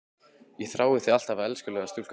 Ég þrái þig alt af elskulega stúlkan mín.